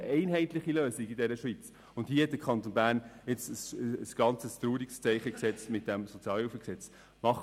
Wir brauchen einheitlicheLösungen in der Schweiz, und mit dem vorliegenden SHG setzt der Kanton Bern jetzt ein ganz trauriges Zeichen.